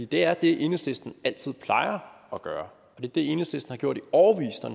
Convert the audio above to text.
det er det enhedslisten altid plejer at gøre det er det enhedslisten har gjort i årevis når